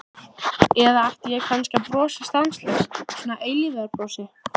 Eða ætti ég kannski að brosa stanslaust, svona eilífðarbrosi?